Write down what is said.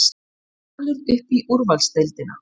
Valur upp í úrvalsdeildina